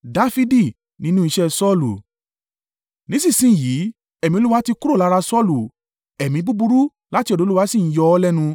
Nísinsin yìí, ẹ̀mí Olúwa ti kúrò lára Saulu, ẹ̀mí búburú láti ọ̀dọ̀ Olúwa sì ń yọ ọ́ lẹ́nu.